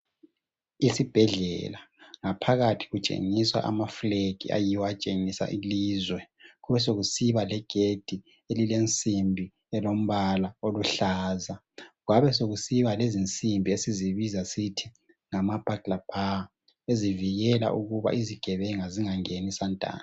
Ezibhedlela ngaphakathi kutshengiswa amaflag atshengisa ilizwe. Besokusiba legedi elensimbi elilombala oluhlaza, besokusiba lezinsimbi esizibiza sisithi ngama burglar bar ezivikela ukuba izigebenga zingangeni santando.